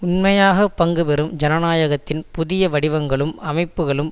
உண்மையாக பங்குபெறும் ஜனநாயகத்தின் புதிய வடிவங்களும் அமைப்புக்களும்